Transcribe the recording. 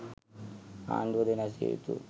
ආණ්ඩුව ද වෙනස් විය යුතු